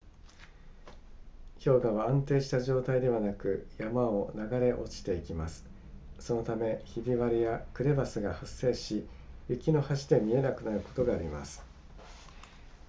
氷河は安定した状態ではなく山を流れ落ちていきますそのためひび割れやクレバスが発生し雪の橋で見えなくなることがあります